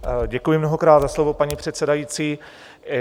Děkuji mnohokrát za slovo, paní předsedající.